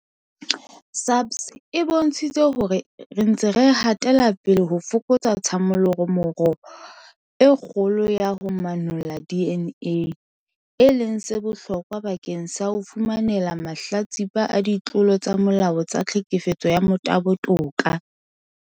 SAPS e bontshitse hore re ntse re hatela pele ho fokotsa tshallomora e kgolo ya ho manolla DNA, e leng se bohlokwa bakeng sa ho fumanela mahlatsipa a ditlolo tsa molao tsa tlhekefetso ya motabo toka.